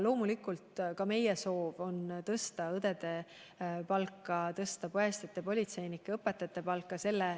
Loomulikult on ka meie soov tõsta õdede palka, tõsta päästjate, politseinike ja õpetajate palka.